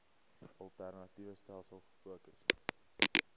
alternatiewe stelsels gefokus